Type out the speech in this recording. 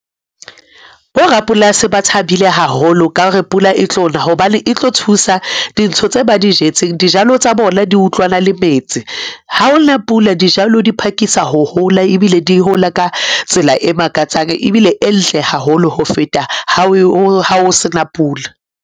Bo rapolasi ba thabile haholo ka hore pula e tlo na, hobane e tlo thusa dintho tse ba di jetseng. Dijalo tsa bona di utlwana le metsi. Ha o na pula, dijalo di phakisa ho hola, ebile di hola ka tsela e makatsang ebile e ntle haholo ho feta ha o sena pula.